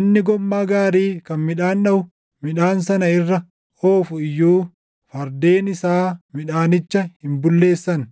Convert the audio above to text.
Inni gommaa gaarii kan midhaan dhaʼu midhaan sana irra oofu iyyuu fardeen isaa midhaanicha hin bulleessan.